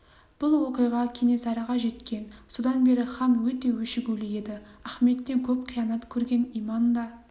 бұл оқиға кенесарыға жеткен содан бері хан өте өшігулі еді ахметтен көп қиянат көрген иман да